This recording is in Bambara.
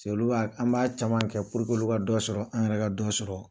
paseke olu b'a caman an b'a caman kɛ puruke olu ka dɔ sɔrɔ an yɛrɛ ka dɔ sɔrɔ